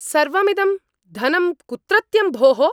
सर्वमिदं धनं कुत्रत्यं भोः?